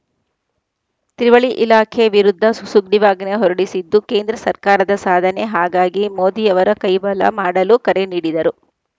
ತ್ರಿವಳಿ ಇಲಾಖೆ ವಿರುದ್ಧ ಸು ಸುಗ್ರಿವಾಜ್ಞೆ ಹೊರಡಿಸಿದ್ದು ಕೇಂದ್ರ ಸರ್ಕಾರದ ಸಾಧನೆ ಹಾಗಾಗಿ ಮೋದಿಯವರ ಕೈ ಬಲ ಮಾಡಲು ಕರೆ ನೀಡಿದರು